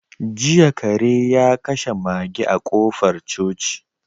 Jiya kare ya kashe mage a kofar coci.